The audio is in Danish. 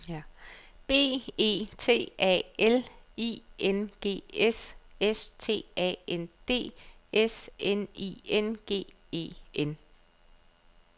B E T A L I N G S S T A N D S N I N G E N